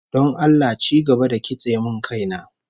Don Allah ci gaba da kitse min kaina